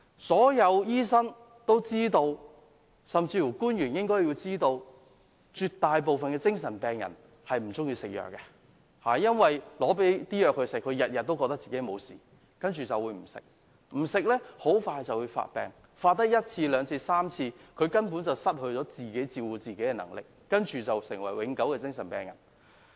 所有醫生都知道，官員也應知道，絕大部分精神病人均不喜歡服藥，他們認為自己沒有事，不願服藥，繼而發病，發病了一次、兩次、三次後，他們便會失去自理能力，成為永久精神病人。